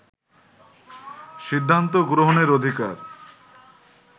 সিদ্ধান্ত গ্রহণের অধিকার